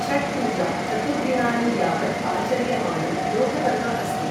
छठ पूजा चतुर्दिनानि यावद् आचर्यमाणं लोकपर्व अस्ति।